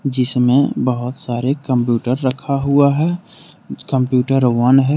जिसमें बहुत सारे कंप्यूटर रखा हुआ है कंप्यूटर वन है।